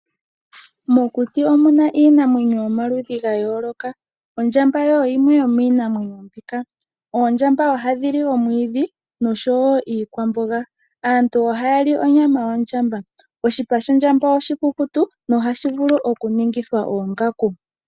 Mokuti omuna iinamwenyo yo maludhi ga yooloka ondjamba iyo yimwe yomiinamwenyo mbika. Ohayi li omwiidhi noshowo iikwamboga, aantu ohayàl li onyama yawo. Oshipa shawo oshikukutu nohashi vulu okuningithwa oongaku.